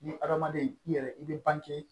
Ni hadamaden i yɛrɛ i bɛ bange